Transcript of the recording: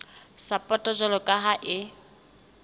sapoto jwalo ka ha e